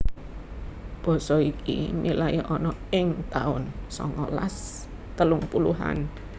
Basa iki milai ana ing taun songolas telung puluhan